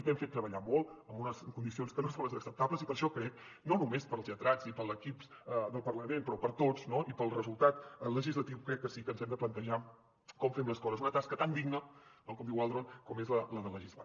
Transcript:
t’hem fet treballar molt en unes condicions que no són les acceptables i per això crec no només pels lletrats i per l’equip del parlament però per tots i pel resultat legislatiu crec que sí que ens hem de plantejar com fem les coses una tasca tan digna com diu waldron com és la de legislar